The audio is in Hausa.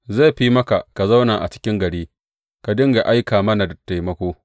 Zai fi maka ka zauna a cikin gari, ka dinga aika mana da taimako.